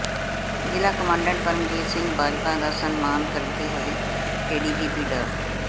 ਜ਼ਿਲ੍ਹਾ ਕਮਾਂਡੈਂਟ ਪਰਮਜੀਤ ਸਿੰਘ ਬਾਜਵਾ ਦਾ ਸਨਮਾਨ ਕਰਦੇ ਹੋਏ ਏਡੀਜੀਪੀ ਡਾ